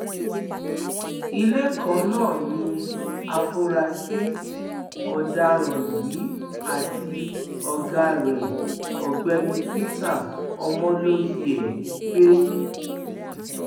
ilé kan náà ni àfúrásì ọdaràn yìí àti ọgá rẹ ọgbẹni peter omolohie ń gbé